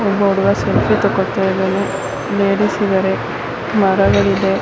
ಒಬ್ಬ ಹುಡುಗ ಸೆಲ್ಫಿಯೇ ತಗೋಂತೈದಾನೆ ಲೇಡೀಸ್ ಇದಾರೆ ಮರಗಳಿವೆ.